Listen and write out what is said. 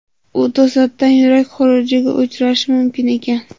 U to‘satdan yurak xurujiga uchrashi mumkin ekan”.